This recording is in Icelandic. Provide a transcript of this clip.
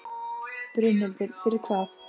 Berghildur: Fyrir hvað?